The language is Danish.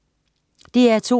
DR2: